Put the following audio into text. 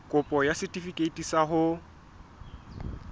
kopo ya setefikeiti sa ho